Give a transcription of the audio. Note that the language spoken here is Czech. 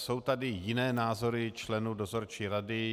Jsou tady jiné názory členů dozorčí rady.